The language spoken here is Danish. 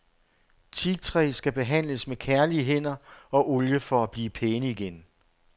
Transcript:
Teaktræ skal behandles med kærlige hænder og olie for at blive pæne igen.